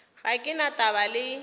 ga ke na taba le